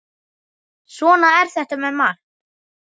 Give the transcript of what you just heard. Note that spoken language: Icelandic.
Svona er þetta með margt.